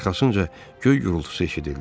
Arxasınca göy gurultusu eşidildi.